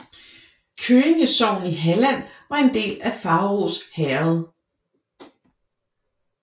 Køinge sogn i Halland var en del af Faurås herred